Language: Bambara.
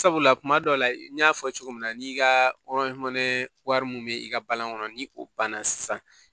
Sabula kuma dɔw la n y'a fɔ cogo min na n'i ka wari mun bɛ i ka balan kɔnɔ ni o banna sisan